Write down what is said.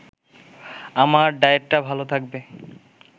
আমার ডায়েটটা ভালো থাকবে